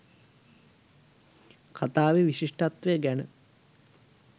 කතාවෙ විශිෂ්ටත්වය ගැන